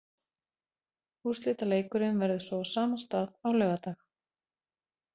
Úrslitaleikurinn verður svo á sama stað á laugardag.